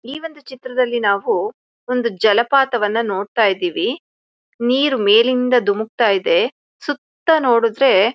ಈ ಒಂದು ಚಿತ್ರದಲ್ಲಿ ನಾವು ಒಂದು ಜಲಪಾತವನ್ನ ನೋಡತಾಯಿದ್ದೀವಿ. ನೀರು ಮೇಲಿಂದ ಧುಮುಕ್ತಾ ಇದೆ. ಸುತ್ತ ನೋಡು ದ್ರೆ--